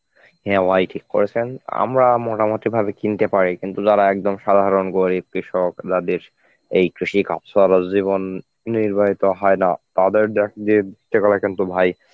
হ্যাঁ ভাই ঠিক কয়েছেন, আমরা মোটামুটি ভাবে কিনতে পারি কিন্তু যারা একদম সাধারণ গরিব কৃষক যাদের এই কৃষি কার্যে আবার জীবন নির্বাহিত হয় না তাদের দেখবেন কিন্তু ভাই